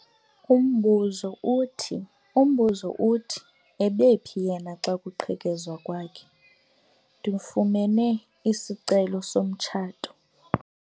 Umbuzo uthi ebephi yena xa kuqhekezwa kwakhe? ndifumene isicelo somtshato